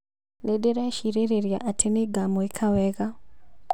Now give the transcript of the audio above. Nĩndĩrecirĩrĩria atĩ nĩmagũĩka wega